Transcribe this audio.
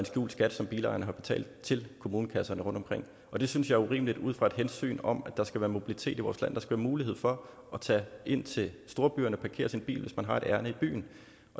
skjult skat som bilejerne har betalt til kommunekasserne rundtomkring og det synes jeg er urimeligt ud fra et hensyn om at der skal være mobilitet i vores land der skal være mulighed for at tage ind til storbyerne og parkere sin bil hvis man har et ærinde i byen